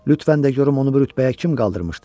Lütfən də yorum onu bu rütbəyə kim qaldırmışdı?